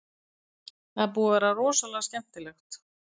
Það er búið að vera rosalega skemmtilegt.